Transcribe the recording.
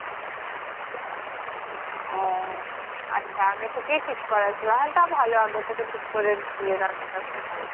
উহ আচ্ছা আগে থেকেই ঠিক করা ছিলো হ্যা তা টা ভালো আগে থেকে ঠিক করে দিয়ে রাখা টা একটা ভালো